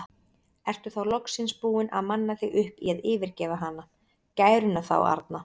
Ertu þá loksins búinn að manna þig upp í að yfirgefa hana, gæruna þá arna?